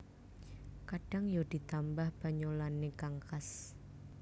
Kadhang ya ditambah banyolanne kang khas